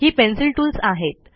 ही pencil tools आहेत